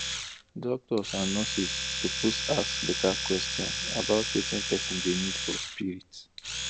doctors and nurses suppose ask better question about wetin person dey need for spirit